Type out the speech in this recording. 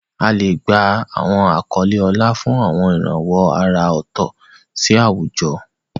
A lè gba àwọn àkọlé ọlá fún àwọn ìrànwọ́ àrà ọ̀tọ̀ sí àwùjọ.